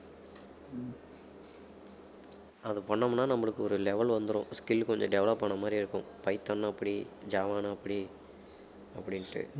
அதை பண்ணோம்னா நம்மளுக்கு ஒரு level வந்துரும் skill கொஞ்சம் develop ஆன மாதிரி இருக்கும், பைத்தான்னா அப்படி ஜாவான்னா அப்படி அப்படின்னுட்டு